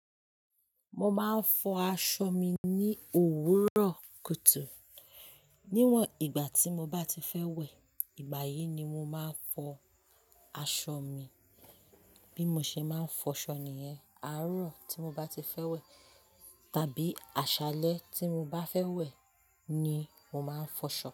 Mo máa ń fọ aṣọ mi ní òwúrọ̀ kùtù. Níwọ̀n ìgbà tí mo bá ti fẹ́ wẹ̀, ìgbà yìí ni mo máa ń fọ aṣọ mi. Bí mo ṣe máa ń fọ ṣọ ni yẹn. Àárọ̀ tí mo bá ti fẹ́ wẹ̀ tàbí àṣálẹ́ tí mo bá fẹ́ wẹ̀ ni mo máa ń fọṣọ.